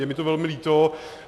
Je mi to velmi líto.